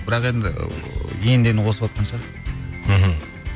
бірақ енді енді енді қосыватқан шығар мхм